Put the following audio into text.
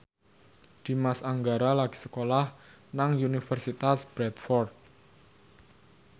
Dimas Anggara lagi sekolah nang Universitas Bradford